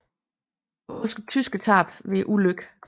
Der var også tyske tab ved ulykken